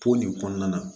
Ko nin kɔnɔna na